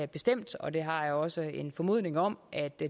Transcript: bestemt og det har jeg også en formodning om at det